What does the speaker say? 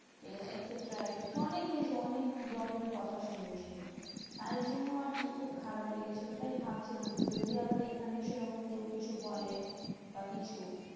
এ etcetera etcetera অনেক কিছু অনেক রকমের কথা শুনিয়েছিল। তাই জন্য আরকি খুব খারাপ লেগেছিলো। তাই ভাবছিলাম যে, যদি আবার এইখানেই সেরকম কেউ কিছু বলে বা কিছু।